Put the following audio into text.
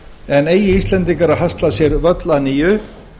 en eigi íslendingar að hasla sér völl að nýju